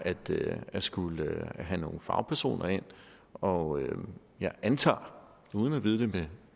at skulle have nogle fagpersoner ind og jeg antager uden at vide det